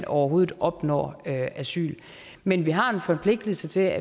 overhovedet opnår asyl men vi har en forpligtelse til at